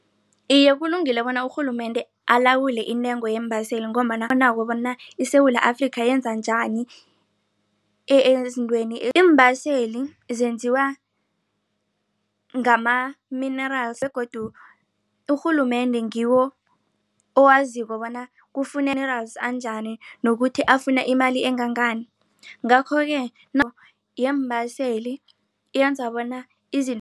Iye, kulungile bona urhulumende alawule intengo yeembaseli ngombana bona iSewula Afrika yenza njani ezintweni iimbaseli zenziwa ngama-minerals begodu urhulumende ngiwo owaziko bona anjani nokuthi afuna imali engangani ngakho-ke yeembaseli yenza bona